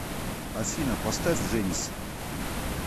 афина поставь женис